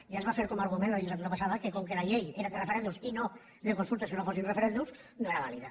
ja es va fer com a argument la legislatura passada que com que la llei era de referèndums i no de consultes que no fossin referèndums no era vàlida